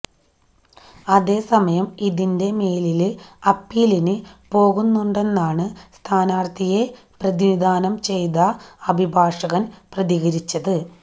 അതേസമയം ഇതിന്റെ മേലില് അപ്പീലിന് പോകുന്നുണ്ടെന്നാണ് സ്ഥാനാര്ത്ഥിയെ പ്രതിനിധാനം ചെയ്ത് അഭിഭാഷകന് പ്രതികരിച്ചത്